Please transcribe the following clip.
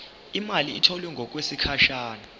imali etholwe ngokwesigatshana